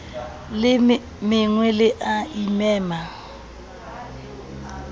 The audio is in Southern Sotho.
le mengwe le a imema